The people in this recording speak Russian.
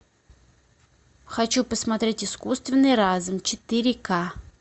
хочу посмотреть искусственный разум четыре ка